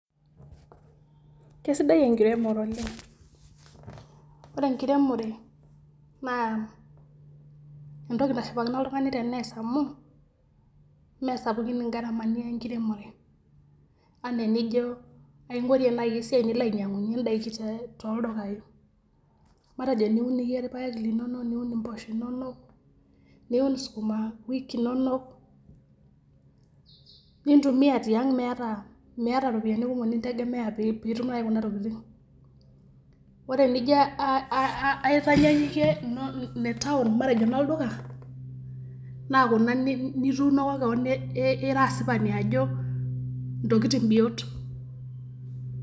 Kesidai enkiremore oleng' ore enkiremore naa entoki nashipakino oltung'ani tenees amu meesapukn ingaramani enkiremore enaa enijo aing'orie naai esiai nilo ainyiang'unyie indaiki toldukaai matejo niun iyie irpaek linonok niun impoosho inonok niun sukuma wiki inonok nintumia tiang' miata iropiyiani naai kumok nintegemea piitum nai kuna tokitin, ore enijo aitanyanyukie ine town matejo inolduka naa kuna nituunoko keon ira asipani ajo intokitin biot.